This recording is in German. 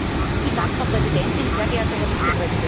Frau Präsidentin, sehr geehrter Herr Vizepräsident!